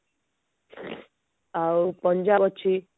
ଆଉ ପଞ୍ଜାବ ଅଛି